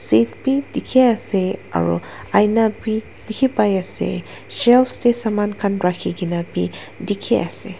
Face bhi dekhe ase aro aina bhi dekhe pai ase shelves dae saman khan rakhikena bhi dekhe ase.